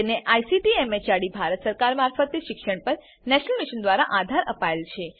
જેને ICT MHRD Bharat સરકાર મારફતે શિક્ષણ પર નેશનલ મિશન દ્વારા આધાર અપાયેલ છે